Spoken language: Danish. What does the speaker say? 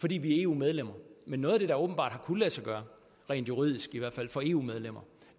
fordi vi er eu medlemmer men noget af det der åbenbart har kunnet lade sig gøre rent juridisk i hvert fald for eu medlemmer